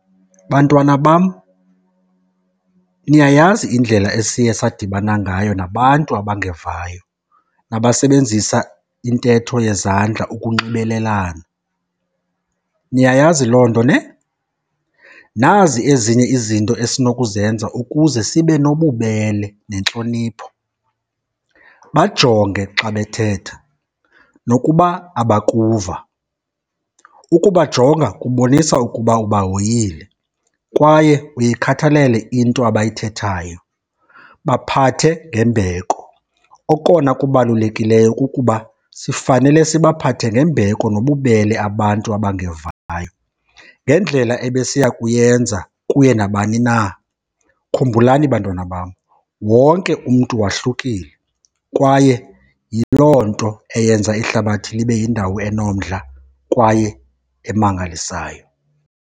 Bantwana bam, niyayazi indlela esiye sadibana ngayo nabantu abangevayo nabasebenzisa intetho yezandla ukunxibelelana. Niyayazi loo nto nhe? Nazi ezinye izinto esinokuzenza ukuze sibe nobubele nentlonipho, bajonge xa bethetha nokuba abakuva. Ukubajonga kubonisa ukuba ubahoyile kwaye uyikhathalele into abayithethayo. Baphathe ngembeko, okona kubalulekileyo kukuba sifanele sibaphathe ngembeko nobubele abantu abangevayo ngendlela ebesiya kuyenza kuye nabani na. Khumbulani bantwana bam, wonke umntu wahlukile kwaye yiloo nto eyenza ihlabathi libe yindawo enomdla kwaye emangalisayo.